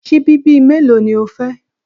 Síbí bíi mélòó ni o fẹ́?